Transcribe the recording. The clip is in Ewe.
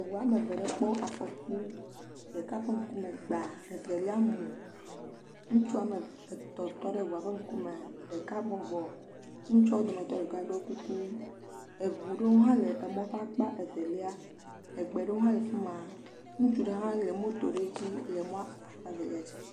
Eŋu woame eve ɖe kpɔ afɔku, ɖeka ƒe ŋkume gba evelia mu, ŋutsu woame etɔ̃ tɔ ɖe eŋua ƒe ŋkume ɖeka bɔbɔ, ŋutsuawo dometɔ ɖeka ɖɔ kuku eŋu ɖewo hã le emɔ ƒe akpa evelia, ŋutsu aɖewo hã le fi ma ŋutsu ɖe hã le moto ɖe dzi le mɔa akpa evlia dzi.